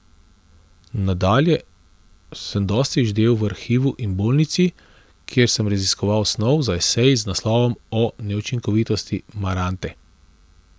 Nadalje sem dosti ždel v Arhivu in Bolnici, kjer sem raziskoval snov za esej z naslovom O neučinkovitosti marante.